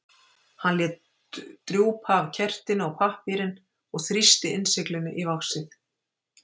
Hann lét drjúpa af kertinu á pappírinn og þrýsti innsiglinu í vaxið.